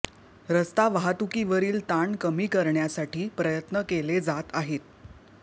रस्ता वाहतुकीवरील ताण कमी करण्यासाठी प्रयत्न केले जात आहेत